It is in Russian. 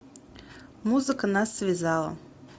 музыка нас связала